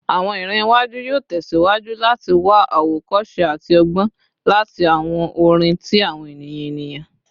Awọn iran iwaju yoo tẹsiwaju lati wa awokose ati ọgbọn lati awọn orin ti awọn eniyan eniyan